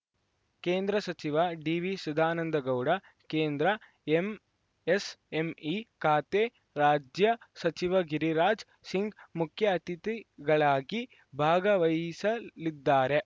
ಕೇಂದ್ರ ಸಚಿವ ಡಿವಿಸದಾನಂದಗೌಡ ಕೇಂದ್ರ ಎಂಎಸ್‌ಎಂಇ ಖಾತೆ ರಾಜ್ಯ ಸಚಿವ ಗಿರಿರಾಜ್‌ ಸಿಂಗ್‌ ಮುಖ್ಯ ಅತಿಥಿಗಳಾಗಿ ಭಾಗವಹಿಸಲಿದ್ದಾರೆ